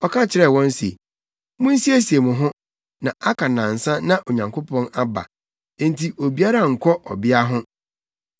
Ɔka kyerɛɛ wɔn se, “Munsiesie mo ho, na aka nnansa na Onyankopɔn aba, enti obiara nnkɔ ɔbea ho.”